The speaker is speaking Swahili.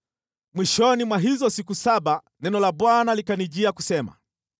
Mwishoni mwa hizo siku saba neno la Bwana likanijia kusema: